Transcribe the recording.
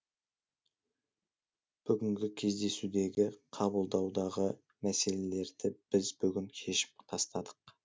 бүгінгі кездесудегі қабылдаудағы мәселелерді біз бүгін шешіп тастадық